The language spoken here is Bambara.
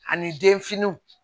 Ani denfiniw